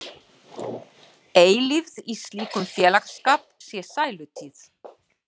Eilífð í slíkum félagsskap sé sælutíð.